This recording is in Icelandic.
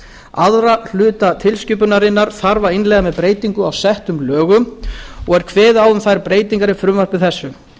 aðra hluta tilskipunarinnar þarf að innleiða með breytingum á settum lögum og er kveðið á um þær breytingar í frumvarpi þessu